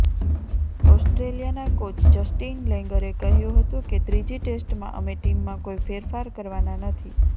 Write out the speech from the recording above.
ઓસ્ટ્રેલિયાના coach Justin લેંગરે કહ્યું હતું કે ત્રીજી ટેસ્ટમાં અમે ટીમમાં કોઈ ફેરફાર કરવાના નથી